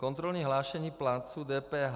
Kontrolní hlášení plátců DPH.